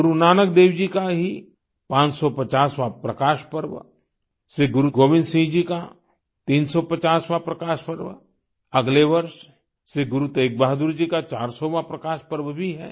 गुरु नानक देव जी का ही 550वाँ प्रकाश पर्व श्री गुरु गोविंद सिंह जी का 350वाँ प्रकाश पर्व अगले वर्ष श्री गुरु तेग बहादुर जी का 400वाँ प्रकाश पर्व भी है